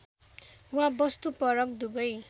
वा वस्तुपरक दुवै